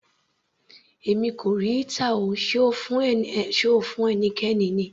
Èmi kò rí heater, sé O fún ẹnikẹ́ni ni?